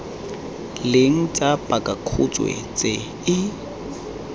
leng tsa pakakhutshwe tse e